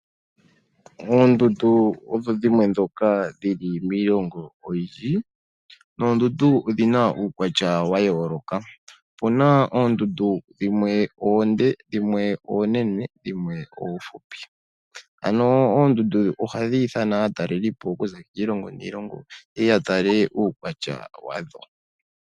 Oondundu odho dhimwe ndhoka dhili miilongo oyindji. Oondundu odhina uukwatya wa yooloka, opuna oondundu dhimwe oonde, dhimwe oonene, dhimwe oofupi ano oondundu ohadhi ithana aatalelipo okuza kiilongo niilongo yeye ya tale uukwatya wadho.